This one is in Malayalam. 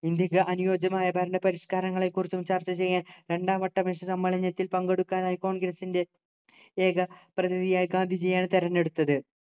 ഇന്ത്യക്ക് അനുയോജ്യമായ ഭരണപരിഷ്കാരങ്ങളെക്കുറിച്ചു ചർച്ച ചെയ്യാൻ രണ്ടാം വട്ട മേശ സമ്മേളനത്തിൽ പങ്കെടുക്കാൻ ആയി congress ൻ്റെ ഏക പ്രതിനിധിയായി ഗാന്ധിജിയെയാണ് തെരഞ്ഞെടുത്തത്